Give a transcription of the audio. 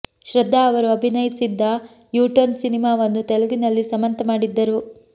ಶ್ರದ್ಧಾ ಅವರು ಅಭಿನಯಿಸಿದ್ದ U turn ಸಿನಿಮಾವನ್ನು ತೆಲುಗಿನಲ್ಲಿ ಸಮಂತಾ ಮಾಡಿದ್ದರು